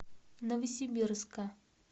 новосибирска